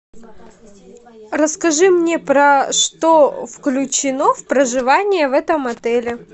расскажи мне про что включено в проживание в этом отеле